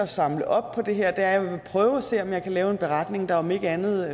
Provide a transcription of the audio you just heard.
samler op på det her er at jeg vil prøve at se om jeg kan lave en beretning der om ikke andet